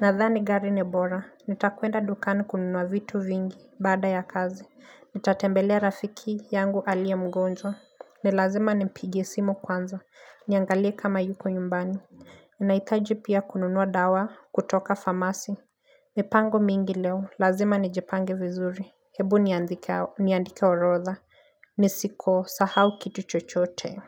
Nadhani gari ni bora nitakwenda dukani kununua vitu vingi baada ya kazi Nitatembelea rafiki yangu aliye mgonjwa ni lazima nimpigie simu kwanza Niangalie kama yuko nyumbani Ninaitaji pia kununua dawa kutoka famasi mipango mingi leo lazima nijipange vizuri Hebu niandike orodha nisikosahau kitu chochote.